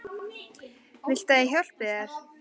Viltu að ég hjálpi þér?